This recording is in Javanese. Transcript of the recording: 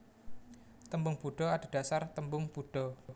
Tembung Buda adhedhasar tembung Buddha